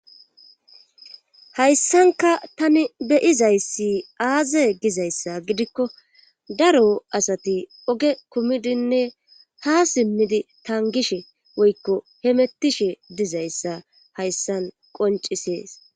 hayssankka tani beyizayssi aaze gizayssa gidikko daro asati oge kumidinne ha siimidi tangishshe woykko hemettishe dizayssa hayssan qoncisees